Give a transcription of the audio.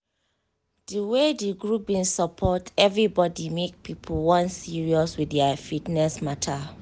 di way di group bin support everybody make people wan serious with their fitness mata